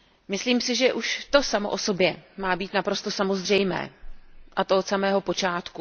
Myslím si, že už to samo o sobě má být naprosto samozřejmé, a to od samého počátku.